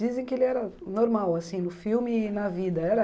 Dizem que ele era normal assim no filme e na vida. Era